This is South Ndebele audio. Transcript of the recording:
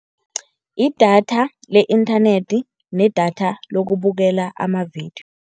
Idatha le inthanethi nedatha lokubukela amavidiyo.